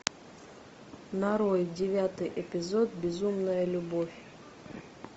нарой девятый эпизод безумная любовь